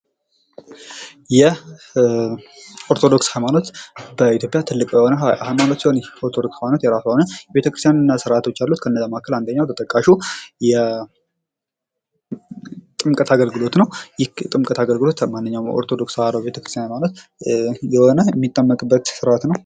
የኦርቶዶክስ ሃይማኖት በኢትዮጵያ ትልቅ የሆነ ሃይማኖት ሲሆን ይህ ሃይማኖት የራሱ የሆነ ቤተክርስትያንን እና ስርአቶች አሉት። ከነዛ መካከል አንደኛው ተጠቃሹ የጥምቀት አገልግሎት ነው ይህ የጥምከት አገልግሎት በማንኛውም በኦርቶዶክስ ተዋህዶ ሃይማኖት የሆነ የሚጠመቅበት ስርአት ነው።